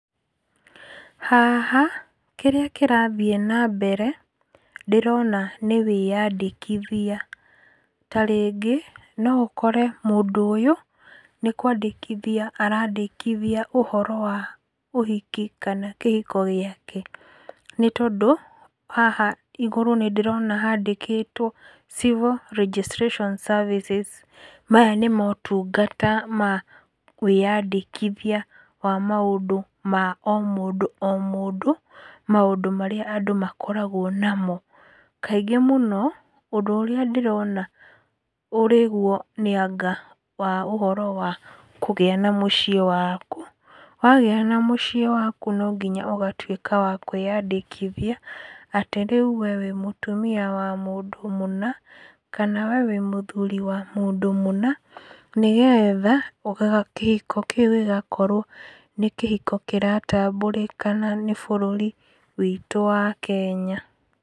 Haha, kĩrĩa kĩrathiĩ na mbere ndĩrona nĩ wĩyandĩkithia. Ta rĩngĩ no ũkore mũndũ ũyũ, nĩ kwandĩkithia arandĩkithia ũhoro wa ũhiki kana kĩhiko gĩake, nĩ tondũ haha igũrũ nĩ ndĩrona handĩkĩtwo civil registration services. Maya nĩ motungata ma wĩyandĩkithia wa maũndũ ma o mũndũ o mũndũ, maũndũ marĩa andũ makoragwo namo. Kaingĩ mũno, ũndũ ũrĩa ndĩrona ũrĩ guo nĩ anga wa ũhoro wa kũgĩa na mũciĩ waku, wagĩa na mũciĩ waku, no nginya ũgatuĩka wa kwĩandĩkithia atĩ rĩu wee wĩ mũtumia wa mũndũ mũna, kana wee wĩ mũthuri wa mũndũ mũna, nĩ getha kĩhiko kĩu gĩgakorwo nĩ kĩhiko kĩratambũrĩkana nĩ bũrũri wĩtũ wa Kenya.